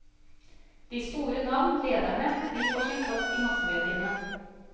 De store navn, lederne, de får sin plass i massemediene.